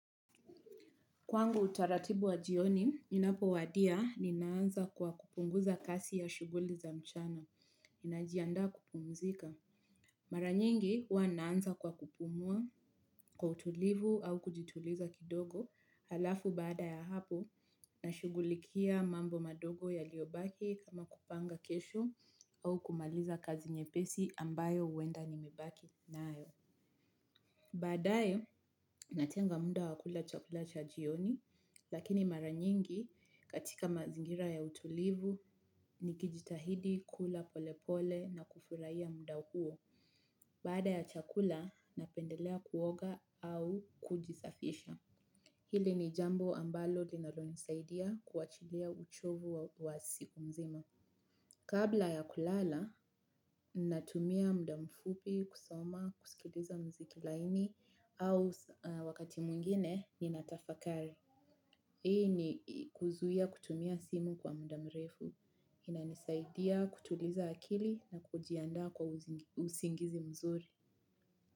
Kwangu utaratibu wa jioni, inapo wadia ni naanza kwa kupunguza kasi ya shuguli za mchana, ninajianda kupumzika. Maranyingi hua naanza kwa kupumua kwa utulivu au kujituliza kidogo halafu bada ya hapo na shugulikia mambo madogo ya liobaki kama kupanga kesho au kumaliza kazi nye pesi ambayo uenda ni mebaki na ayo. Badae natenga muda wakula chakula cha jioni lakini mara nyingi katika mazingira ya utulivu ni kijitahidi kula pole pole na kufuraia muda uo. Baada ya chakula napendelea kuoga au kujisafisha. Hili ni jambo ambalo linalo nisaidia kuachilea uchovu wa siku nzima. Kabla ya kulala, natumia mda mfupi, kusoma, kusikiliza mziki laini, au wakati mwingine, ninatafakari. Hii ni kuzuia kutumia simu kwa mda mrefu. Inanisaidia kutuliza akili na kujianda kwa usingizi mzuri.